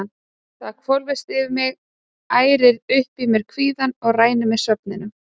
Það hvolfist yfir mig, ærir upp í mér kvíðann og rænir mig svefninum.